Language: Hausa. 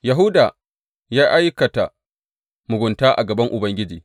Yahuda ya aikata mugunta a gaban Ubangiji.